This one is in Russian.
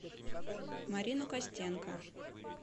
марину костенко